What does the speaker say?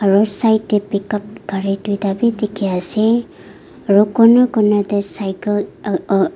aru side tey pickup gari duita bi dikhi ase aru corner corner tey cycle uh uh--